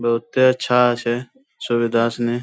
बहुतै अच्छा छै सुविधा |